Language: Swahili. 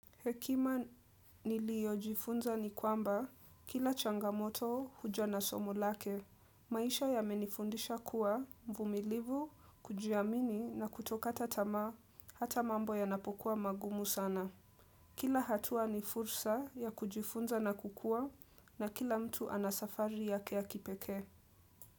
Hekima niliojifunza ni kwamba kila changamoto huja na somo lake. Maisha yamenifundisha kuwa uvumilivu, kujiamini na kutokata tamaa hata mambo yanapokuwa magumu sana. Kila hatua ni fursa ya kujifunza na kukua na kila mtu ana safari yake ya kipekee.